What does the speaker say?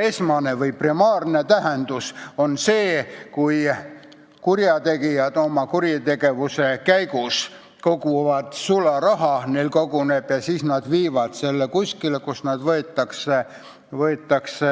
Esmane või primaarne tähendus on sel sõnal siis, kui kurjategijad oma tegevuse käigus koguvad sularaha, neil seda koguneb ja siis nad viivad selle kuskile, kus see võetakse